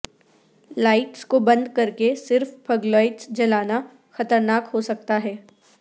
lights کو بند کر کے صرف پھگ لاٹس جلانا خطرناک ہو سکتا ہے